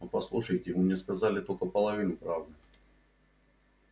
но послушайте вы мне сказали только половину правды